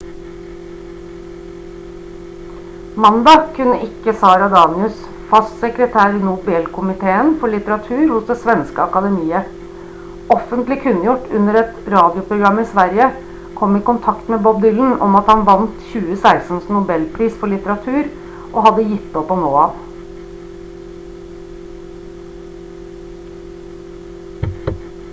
mandag kunne ikke sara danius fast sekretær i nobelkomiteen for litteratur hos det svenske akademiet offentlig kunngjort under et radioprogram i sverige komme i kontakt med bob dylan om at han vant 2016s nobelpris for litteratur og hadde gitt opp å nå ham